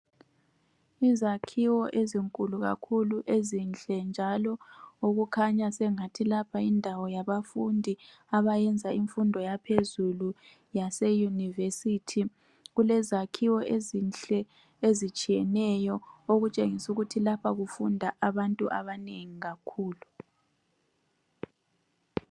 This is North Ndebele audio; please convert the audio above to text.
Izakhiwo ezinkulu kakhulu ezinhle njalo lapha kukhanya engathi yindawo yabafundi abayenza imfundo yaphezulu yase University, kulezakhiwo ezinhle ezitshiyeneyo okutshengisa ukuthi lapha kufunda abantu abanengi kakhulu